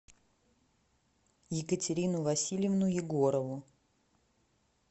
екатерину васильевну егорову